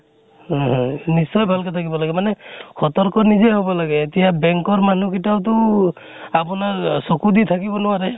হয় হয় নিশ্চয় ভাল কে থাকিব লাগে। মানে সতৰ্ক নিজে হব লাগে। এতিয়া bank ৰ মানুহ কিটাও তো আপোনাত অহ চকু দি থাকিব নোৱাৰে।